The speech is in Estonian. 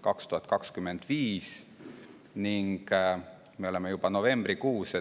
2025, me aga oleme juba novembrikuus.